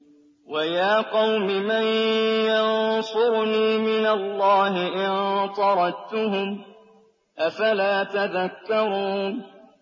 وَيَا قَوْمِ مَن يَنصُرُنِي مِنَ اللَّهِ إِن طَرَدتُّهُمْ ۚ أَفَلَا تَذَكَّرُونَ